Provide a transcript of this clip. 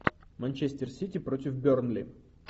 манчестер сити против бернли